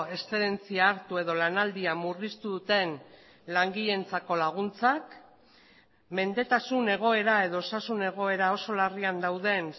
exzedentzia hartu edo lanaldia murriztu duten langileentzako laguntzak mendetasun egoera edo osasun egoera oso larrian dauden